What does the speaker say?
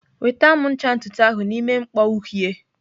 Weta m ncha ntutu ahụ n'ime mkpọ uhie!